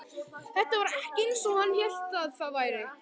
Þetta var ekki eins og hann hélt að það væri.